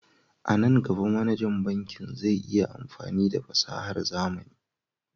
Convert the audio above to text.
A nan gaba, manajan bankin zai yi amfani da fasahar zamani.